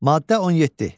Maddə 17.